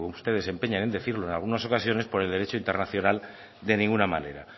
ustedes se empeñen en decirlos en algunos ocasiones por el derecho internacional de ninguna manera